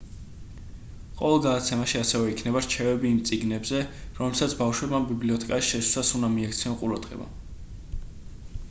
ყოველ გადაცემაში ასევე იქნება რჩევები იმ წიგნებზე რომლებსაც ბავშვებმა ბიბლიოთეკაში შესვლისას უნდა მიაქციონ ყურადღება